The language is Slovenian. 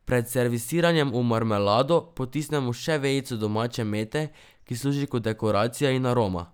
Pred serviranjem v marmelado potisnemo še vejico domače mete, ki služi kot dekoracija in aroma.